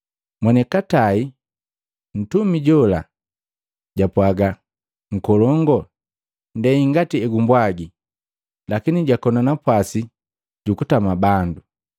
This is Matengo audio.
Monikatai, mtumi jola japwaga, ‘Nkolongu, ndei ngati egumbwagi lakini jakona napwasi jukutama bandu.’